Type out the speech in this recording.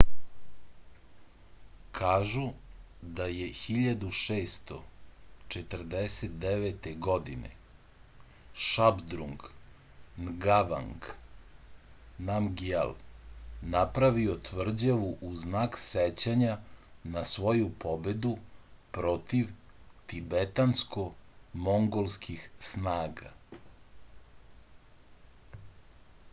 kažu da je 1649. godine šabdrung ngavang namgjal napravio tvrđavu u znak sećanja na svoju pobedu protiv tibetansko-mongolskih snaga